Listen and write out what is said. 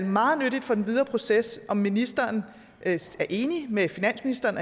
meget nyttigt for den videre proces om ministeren er enig med finansministeren